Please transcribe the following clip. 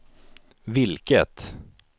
vilket